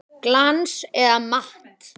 Glans eða matt?